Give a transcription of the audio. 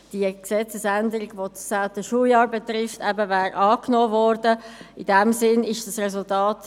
Die Durchführung der Prüfung ist auf Sparmöglichkeiten zu überprüfen und die BiK über die Resul3.